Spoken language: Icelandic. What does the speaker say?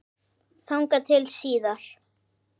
Þangað til síðar.